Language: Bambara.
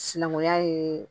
Sinankunya ye